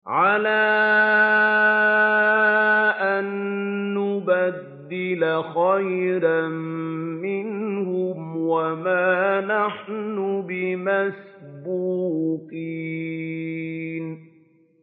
عَلَىٰ أَن نُّبَدِّلَ خَيْرًا مِّنْهُمْ وَمَا نَحْنُ بِمَسْبُوقِينَ